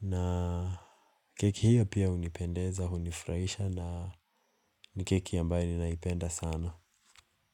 Na keki hiyo pia hunipendeza, hunifraisha na ni keki ambayo ninaipenda sana.